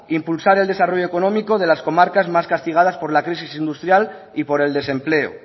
impulsar el desarrollo económico de las comarcas más castigadas por la crisis industrial y por el desempleo